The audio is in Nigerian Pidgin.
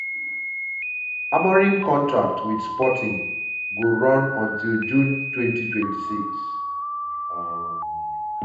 amorim contract wit sporting go run until june 2026. um